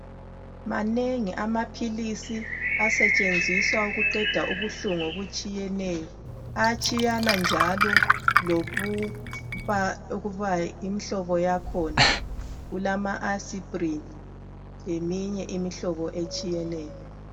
Manengi amaphilisi asetshenziswa ukuqeda ubuhlungu obutshiyeneyo ayatshiyana njalo lokuba yimhlobo yakhona kulama asprini leminye imihlobo etshiyeneyo.